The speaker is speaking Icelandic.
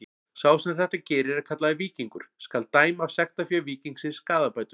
Sá sem þetta gerir er kallaður víkingur: skal dæma af sektarfé víkingsins skaðabætur.